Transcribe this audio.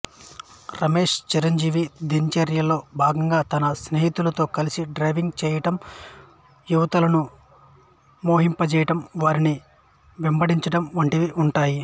రమేష్ చిరంజీవి దినచర్యలో భాగంగా తన స్నేహితులతో కలిసి డ్రైవింగ్ చేయడం యువతులను మోహింపజేయడం వారిని వెంబడించడం వంటివి ఉంటాయి